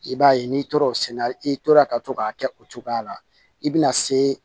I b'a ye n'i tor'o senna i tora ka to k'a kɛ o cogoya la i bɛna se